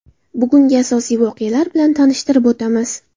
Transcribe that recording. Bugungi asosiy voqealar bilan tanishtirib o‘tamiz.